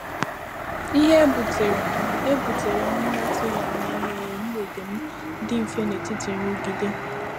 ìhè e butere e butere m n’atụghị anya mere mgbèdè m dị mfe n’etiti nrụgide.